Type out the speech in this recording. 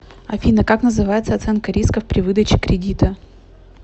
афина как называется оценка рисков при выдаче кредита